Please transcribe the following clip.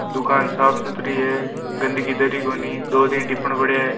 दुकान साफ़ सूत्री है गन्दकी दर ही कोनी दो तीन टीपन पड़ा है।